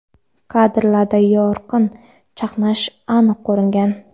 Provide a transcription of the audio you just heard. Kadrlarda yorqin chaqnash aniq ko‘ringan.